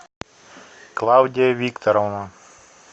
клавдия викторовна